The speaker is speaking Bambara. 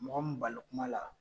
Mɔgɔ balo kuma la.